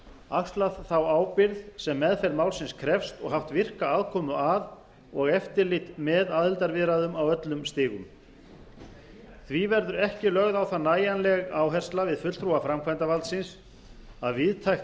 axlað þá ábyrgð sem meðferð málsins krefst og haft virka aðkomu að og eftirlit með aðildarviðræðum á öllum stigum því verður ekki lögð á það nægjanleg áhersla við fulltrúa framkvæmdarvaldsins að víðtækt